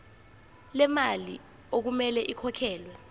lemali okumele ikhokhelwe